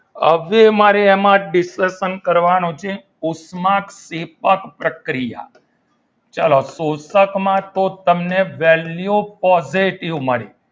હવે મારે એમાં discussion કરવાનું છે ઉષ્માક્ષેપક પ્રક્રિયા ચલો શોષકમાં તો તમે તમને value positive મળી.